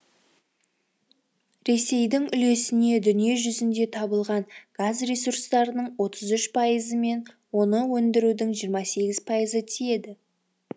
ресейдің үлесіне дүние жүзінде табылған газ ресурстарының отыз үш пайызы мен оны өндірудің жиырма сегіз пайызы ы тиеді